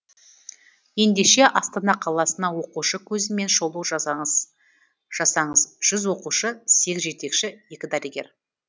ендеше астана қаласына оқушы көзімен шолу жасаңыз жүз оқушы сегіз жетекші екі дәрігер